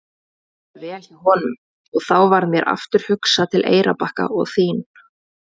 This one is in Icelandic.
Mér líður vel hjá honum og þá varð mér aftur hugsað til Eyrarbakka og þín.